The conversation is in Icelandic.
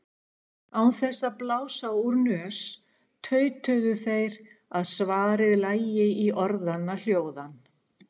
Án þess að blása úr nös tautuðu þeir að svarið lægi í orðanna hljóðan.